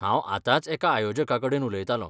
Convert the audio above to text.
हांव आंतांच एका आयोजका कडेन उलयतालों.